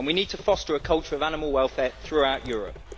and we need to foster a culture of animal welfare throughout Europe.